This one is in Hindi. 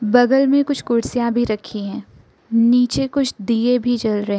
बगल में कुछ कुर्सियां भी रखी है नीचे कुछ दिए भी जल रहे--